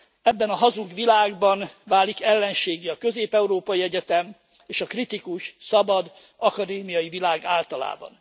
Ebben a hazug világban válik ellenséggé a Közép európai Egyetem és a kritikus, szabad akadémiai világ általában.